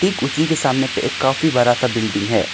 ठीक उसी के सामने पे एक काफी बड़ा सा बिल्डिंग है।